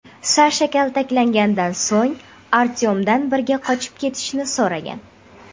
Sasha kaltaklanganidan so‘ng, Artyomdan birga qochib ketishni so‘ragan.